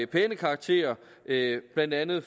pæne karakter af blandt andet